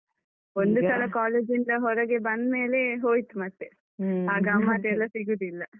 ಒಂದು ಸಲ college ಇಂದ ಹೊರಗೆ ಬಂದ್ಮೇಲೆ ಹೋಯ್ತು ಮತ್ತೆ. ಗಮ್ಮತೆಲ್ಲ ಸಿಗುದಿಲ್ಲ.